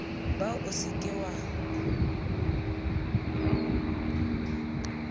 ba o se ke wa